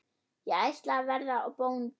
Ég ætla að verða bóndi